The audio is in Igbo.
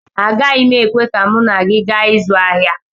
Agaghị m ekwe ka mụ na gị gaa ịzụ ahịa